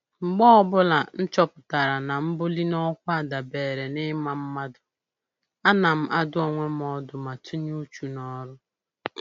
Mgbe ọbụla m chọpụtara na mbuli n'ọkwa dabeere na ịma mmadụ, ana m adụ onwe m ọdụ ma tinye uchu n'ọrụ